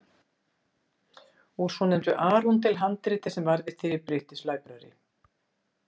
Úr svonefndu Arundel-handriti sem varðveitt er í British Library.